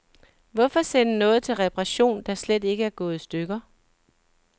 Hvorfor sende noget til reparation, der slet ikke er gået i stykker.